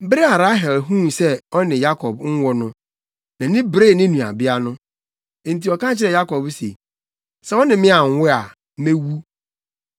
Bere a Rahel huu sɛ ɔne Yakob nwo no, nʼani beree ne nuabea no. Enti ɔka kyerɛɛ Yakob se, “Sɛ wo ne me anwo mma a, mewu!”